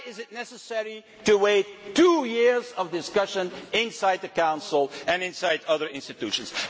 Why is it necessary to wait for two years of discussion inside the Council and inside other institutions?